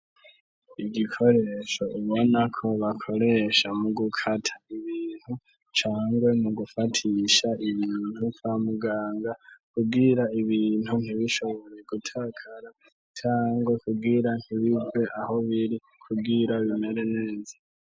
Igikoresho ibona ko bakoresha mu gukata ibintu cangwe mu gufatisha inuntu ka muganga kubwira ibintu ntibishobore gutakara cange kubwira ntibirwe aho biri kubwira binere neza.